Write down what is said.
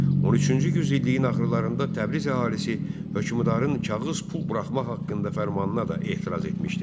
13-cü yüzilliyin axırlarında Təbriz əhalisi hökmdarın kağız pul buraxmaq haqqında fərmanına da etiraz etmişdi.